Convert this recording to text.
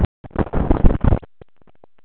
En hvers vegna fékkst vegabréfið ekki endurnýjað?